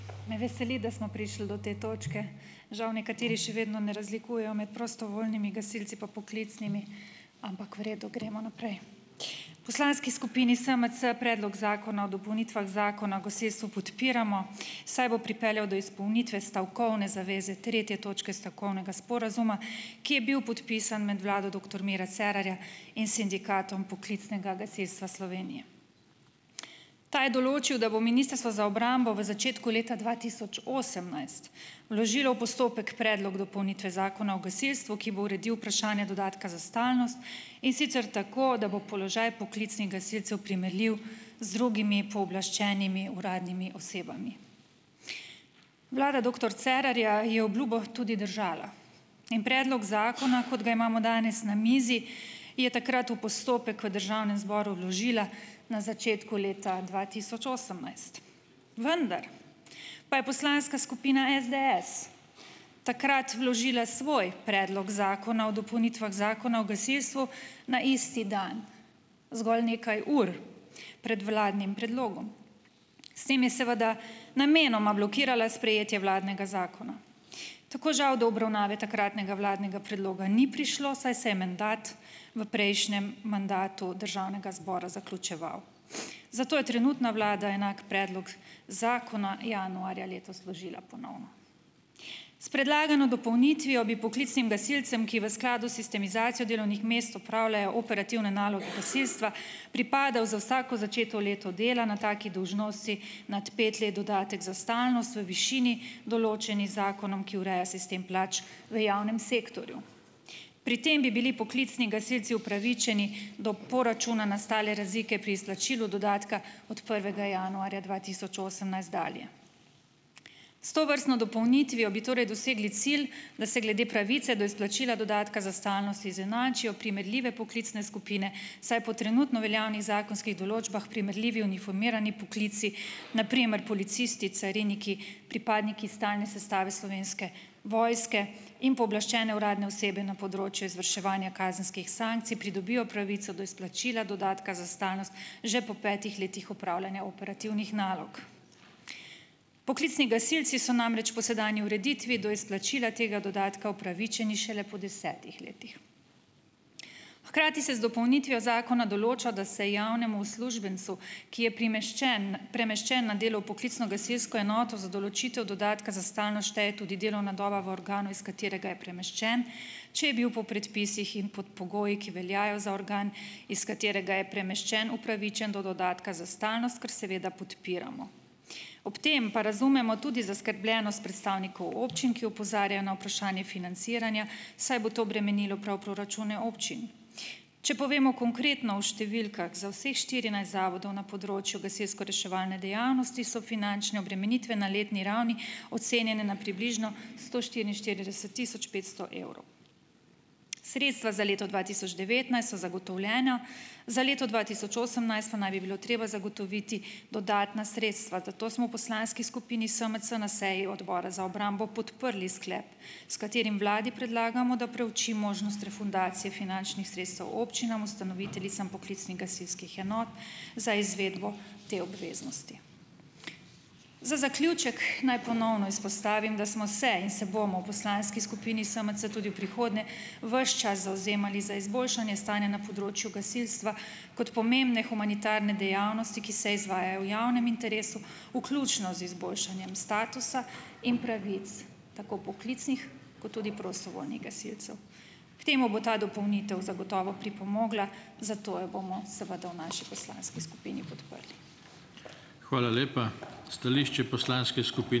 Me veseli, da smo prišli do te točke, žal nekateri še vedno ne razlikujejo med prostovoljnimi gasilci pa poklicnimi ampak v redu, gremo naprej. V poslanski skupini SMC Predlog zakona o dopolnitvah Zakona o gasilstvu podpiramo, saj bo pripeljal do izpolnitve stavkovne zaveze tretje točke stavkovnega sporazuma, ki je bil podpisan med vlado doktor Mira Cerarja in s Sindikatom poklicnega gasilstva Slovenije. Ta je določil, da bo Ministrstvo za obrambo v začetku leta dva tisoč osemnajst vložilo v postopek Predlog dopolnitve Zakona o gasilstvu, ki bo uredil vprašanje dodatka za stalnost, in sicer tako, da bo položaj poklicnih gasilcev primerljiv z drugimi pooblaščenimi uradnimi osebami. Vlada doktor Cerarja je obljubil tudi držala in predlog zakona, kot ga imamo danes na mizi, je takrat v postopek v državnem zboru vložila na začetku leta dva tisoč osemnajst, vendar pa je poslanska skupina SDS takrat vložila svoj Predlog zakona o dopolnitvah Zakona o gasilstvu na isti dan zgolj nekaj ur pred vladnim predlogom. S tem je seveda namenoma blokirala sprejetje vladnega zakona, tako žal do obravnave takratnega vladnega predloga ni prišlo, saj se je mandat v prejšnjem mandatu državnega zbora zaključeval, zato je trenutna vlada enak predlog zakona januarja letos vložila ponovno. S predlagano dopolnitvijo bi poklicnim gasilcem, ki v skladu s sistematizacijo delovnih mest opravljajo operativne naloge gasilstva, pripadal za vsako začeto leto dela na taki dolžnosti nad pet let dodatek za stalnost v višini določeni z zakonom, ki ureja sistem plač v javnem sektorju. Pri tem bi bili poklicni gasilci upravičeni do poračuna nastale razlike pri izplačilu dodatka od prvega januarja dva tisoč osemnajst dalje. S tovrstno dopolnitvijo bi torej dosegli cilj, da se glede pravice do izplačila dodatka za stalnost izenačijo primerljive poklicne skupine, saj po trenutno veljavnih zakonskih določbah primerljivi uniformirani poklici, na primer policisti cariniki, pripadniki stalne sestave Slovenske vojske in pooblaščene uradne osebe na področju izvrševanja kazenskih sankcij pridobijo pravico do izplačila, dodatka za stalnost že po petih letih opravljanja operativnih nalog. Poklicni gasilci so namreč po sedanji ureditvi do izplačila tega dodatka upravičeni šele po desetih letih. Hkrati se z dopolnitvijo zakona določa, da se javnemu uslužbencu, ki je primeščen premeščen na delo v poklicno gasilsko enoto za določitev dodatka za stalnost, šteje tudi delovna doba v organu, iz katerega je premeščen, če je bil po predpisih in pod pogoji, ki veljajo za organ, iz katerega je premeščen, upravičen do dodatka za stalnost, kar seveda podpiramo. Ob tem pa razumemo tudi zaskrbljenost predstavnikov občin, ki opozarjajo na vprašanje financiranja, saj bo to bremenilo prav proračune občin. Če povemo konkretno v številkah, za vseh štirinajst zavodov na področju gasilskoreševalne dejavnosti so finančne obremenitve na letni ravni ocenjene na približno sto štiriinštirideset tisoč petsto evrov. Sredstva za leto dva tisoč devetnajst so zagotovljena. Za leto dva tisoč osemnajst pa naj bi bilo treba zagotoviti dodatna sredstva. Zato smo v poslanski skupini SMC na seji Odbor za obrambo podprli sklep, s katerim vladi predlagamo, da preuči možnost refundacije finančnih sredstev občinam, ustanoviteljicam poklicnih gasilskih enot za izvedbo te obveznosti. Za zaključek naj ponovno izpostavim, da smo se in se bomo v poslanski skupini SMC tudi v prihodnje ves čas zavzemali za izboljšanje stanja na področju gasilstva kot pomembne humanitarne dejavnosti, ki se izvaja v javnem interesu, vključno z izboljšanjem statusa in pravic, tako poklicnih kot tudi prostovoljnih gasilcev. K temu bo ta dopolnitev zagotovo pripomogla, zato jo bomo seveda v naši poslanski skupini podprli.